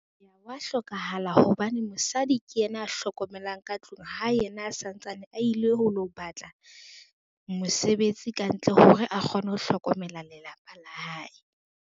Hwa hlokahala hobane mosadi ke yena a hlokomelang ka tlung ha yena a santsane a ile ho lo batla, mosebetsi kantle hore a kgone ho hlokomela lelapa la hae.